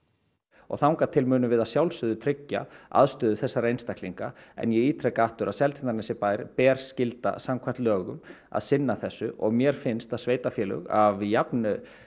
og þangað til munum við að sjálfsögðu tryggja aðstöðu þessara einstaklinga en ég ítreka aftur að Seltjarnarnesbæ ber skylda samkvæmt lögum að sinna þessu og mér finnst að sveitarfélög af jafn